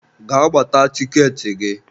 Gaa gbata tikeetị gị!